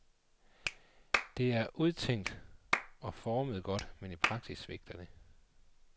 Det er udtænkt og formet godt, men i praksis svigter det.